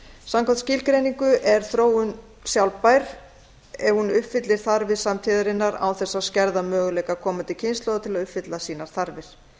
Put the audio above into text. samkvæmt skilgreiningu er þróun sjálfbær ef hún uppfyllir þarfir samtíðarinnar án þess að skerða möguleika komandi kynslóða til að uppfylla sínar þarfir